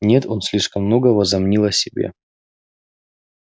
нет он слишком много возомнил о себе